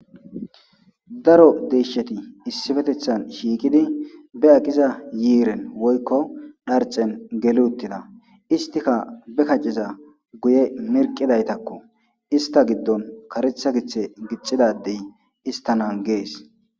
Daro deeshshati isipetethan shiiqidi be aqiza yiiren woykko dharcen geli uttida; istikka be kaceza guye mirqidaytako ista giddon karetha giththe gixida addey ista naages.